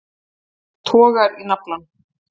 Togar í naflann.